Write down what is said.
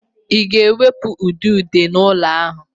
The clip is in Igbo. Ị ga-ewepụ udide n'ụlọ a!